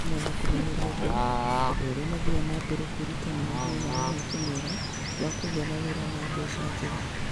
O hamwe na kũmenyeria andũ, andũ arĩa mathiaga na mbere kwĩruta nĩ magĩaga na mweke mwega wa kũgĩa na wĩra na mbeca njega.